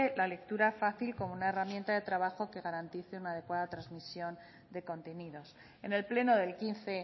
la lectura fácil como una herramienta de trabajo que garantice una adecuada transmisión de contenidos en el pleno del quince